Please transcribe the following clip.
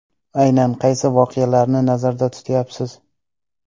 Aynan qaysi voqealarni nazarda tutayapsiz?